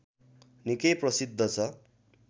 निकै प्रसिद्ध छ